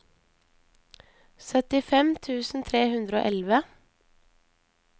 syttifem tusen tre hundre og elleve